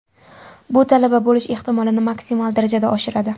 Bu talaba bo‘lish ehtimolini maksimal darajada oshiradi.